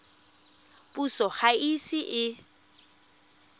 puso ga e ise e